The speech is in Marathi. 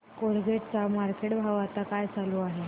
कोलगेट चा मार्केट भाव आता काय चालू आहे